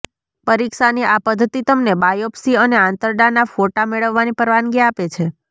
પરીક્ષાની આ પદ્ધતિ તમને બાયોપ્સી અને આંતરડાના ફોટા મેળવવાની પરવાનગી આપે છે